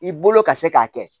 I bolo ka se k'a kɛ